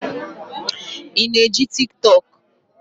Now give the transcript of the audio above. Ị na eji Tiktọk?